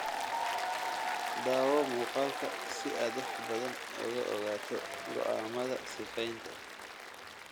(Daawo muuqaalka si aad wax badan uga ogaato go'aamada sifaynta.